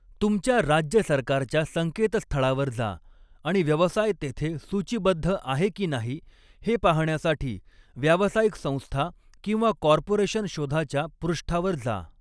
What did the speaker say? तुमच्या राज्य सरकारच्या संकेतस्थळावर जा आणि व्यवसाय तेथे सूचीबद्ध आहे की नाही हे पाहण्यासाठी व्यावसायिक संस्था किंवा कॉर्पोरेशन शोधाच्या पृष्ठावर जा.